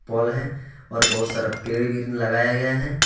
पोल है और बहुत सारा पेड़ भी लगाया गया है।